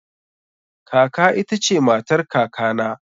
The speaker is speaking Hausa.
Kaka ta ita ce matar kakana